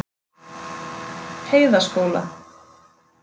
Heiðaskóla